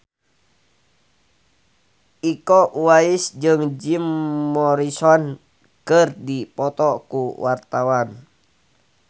Iko Uwais jeung Jim Morrison keur dipoto ku wartawan